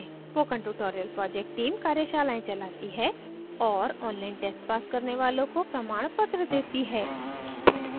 spoken tutorial project team कार्यशालाएं चलाती है और online tests pass करने वालों को प्रमाणपत्र देती है